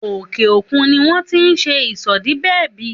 Òkè òkun ni wón ti ń ṣe ìsòdibẹ̀bí